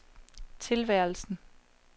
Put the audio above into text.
tilværelsen